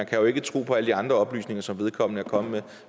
kan jo ikke tro på alle de andre oplysninger som vedkommende er kommet med